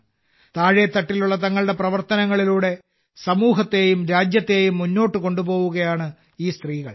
താഴെത്തട്ടിലുള്ള തങ്ങളുടെ പ്രവർത്തനങ്ങളിലൂടെ സമൂഹത്തെയും രാജ്യത്തെയും മുന്നോട്ട് കൊണ്ടുപോകുകയാണ് ഈ സ്ത്രീകൾ